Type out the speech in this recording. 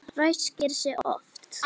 Ræskir sig oft.